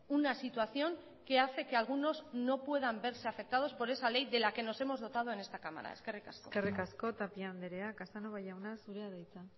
una situación que hace que algunos no puedan verse afectados por esa ley de la que nos hemos dotado en esta cámara eskerrik asko eskerrik asko tapia andrea casanova jauna zurea da hitza